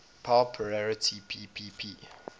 power parity ppp